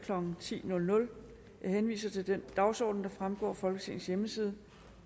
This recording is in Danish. klokken ti jeg henviser til den dagsorden der fremgår af folketingets hjemmeside